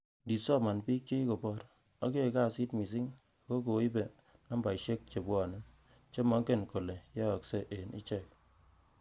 Indisoman bik che kikobor, ak yoe kasit missing ak ko koibe napasisiek chebwone, che mongen kole yoksei en ichek.